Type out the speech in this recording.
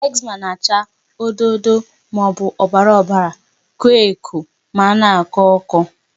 Eczema na-acha odo odo maọbụ ọbara ọbara, koo eko ma na-akọ ọkọ.